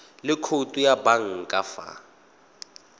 le khoutu ya banka fa